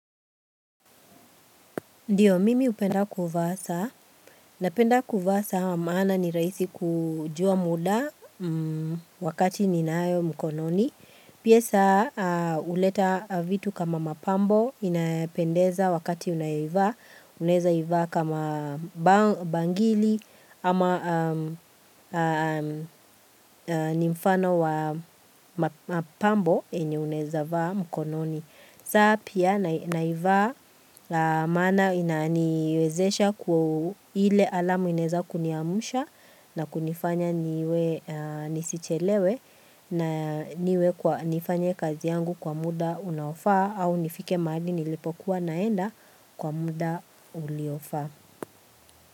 Ndiyo, mimi upenda kuvaa saa. Napenda kuvaa saa maana ni rahisi kujua muda wakati ninayo mkononi. Pia saa, huleta vitu kama mapambo inayopendeza wakati unaivaa. Unaezaivaa kama bangili ama ni mfano wa mapambo enye uneza vaa mkononi. Saa pia naivaa la maana inaaniwezesha kuwa ile alamu ineza kuniamusha na kunifanya niwe nisichelewe na niwe kwa nifanya kazi yangu kwa muda unaofaa au nifike mahali nilipokuwa naenda kwa muda uliofaa.